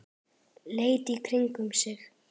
Leit í kringum sig.